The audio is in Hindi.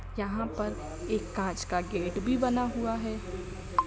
यहां पर एक कांच का गेट भी बना हुआ है।